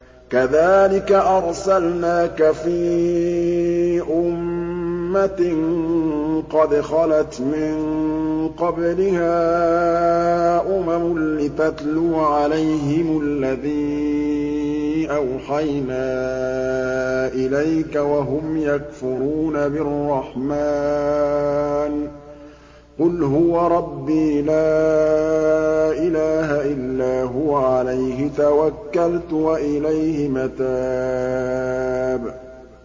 كَذَٰلِكَ أَرْسَلْنَاكَ فِي أُمَّةٍ قَدْ خَلَتْ مِن قَبْلِهَا أُمَمٌ لِّتَتْلُوَ عَلَيْهِمُ الَّذِي أَوْحَيْنَا إِلَيْكَ وَهُمْ يَكْفُرُونَ بِالرَّحْمَٰنِ ۚ قُلْ هُوَ رَبِّي لَا إِلَٰهَ إِلَّا هُوَ عَلَيْهِ تَوَكَّلْتُ وَإِلَيْهِ مَتَابِ